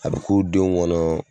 A bɛ k'u denw kɔnɔ